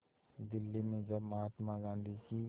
दिल्ली में जब महात्मा गांधी की